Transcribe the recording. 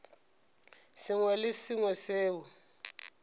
sengwe le se sengwe seo